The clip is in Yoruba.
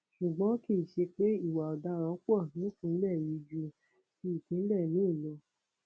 ṣùgbọn kì í ṣe pé ìwà ọdaràn pọ nípìnlẹ yìí ju ti ìpínlẹ míín lọ